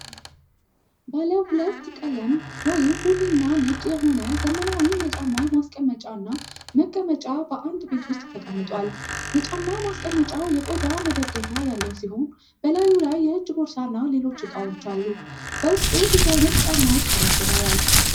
ባለ ሁለት ቀለም (ቡኒ እና ነጭ) የሆነ ዘመናዊ የጫማ ማስቀመጫ እና መቀመጫ በአንድ ቤት ውስጥ ተቀምጧል። የጫማ ማስቀመጫው የቆዳ መደገፊያ ያለው ሲሆን፣ በላዩ ላይ የእጅ ቦርሳና ሌሎች እቃዎች አሉ። በውስጡ ብዙ ዓይነት ጫማዎች ተደርድረዋል።